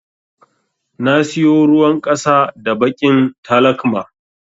Na siyo ruwan ƙasa da baƙin talakma.